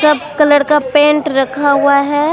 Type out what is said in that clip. सब कलर का पेंट रखा हुआ है।